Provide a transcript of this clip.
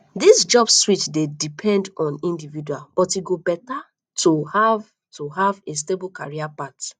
dis job switch dey depend on individual but e go better to have to have a stable career path